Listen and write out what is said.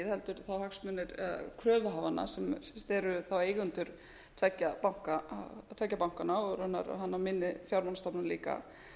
um ríkið heldur kröfuhafana þeir eru þá eigendur tveggja bankanna og raunar minni fjármálastofnana líka